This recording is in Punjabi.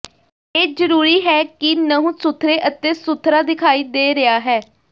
ਇਹ ਜ਼ਰੂਰੀ ਹੈ ਕਿ ਨਹੁੰ ਸੁਥਰੇ ਅਤੇ ਸੁਥਰਾ ਦਿਖਾਈ ਦੇ ਰਿਹਾ ਹੈ